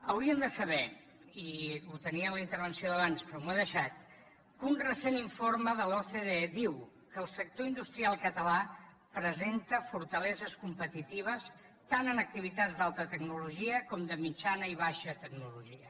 hauríem de saber i ho tenia en la intervenció d’abans però m’ho he deixat que un recent informe de l’ocde diu que el sector industrial català presenta fortaleses competitives tant en activitats d’alta tecnologia com de mitjana i baixa tecnologia